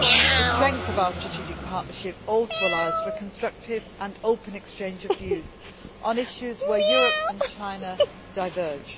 The strength of our strategic partnership also allows for constructive and open exchange of views on issues where Europe and China diverge.